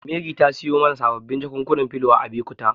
Mary ta siyo mana sababbin jakunkunan filo a Abekuta.